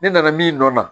Ne nana min nɔ na